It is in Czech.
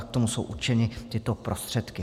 A k tomu jsou určeny tyto prostředky.